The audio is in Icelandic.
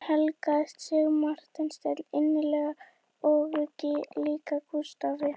Hún helgaði sig Marteini innilega og líka Gústafi